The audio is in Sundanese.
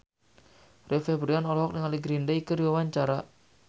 Rio Febrian olohok ningali Green Day keur diwawancara